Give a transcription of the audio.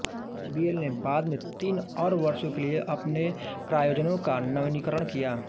HBL ने बाद में तीन और वर्षों के लिए अपने प्रायोजन का नवीनीकरण किया